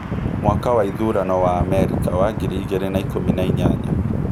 Mwaka wa ithurano wa Amerika wa ngiri igĩrĩ na ikũmi na inyanya: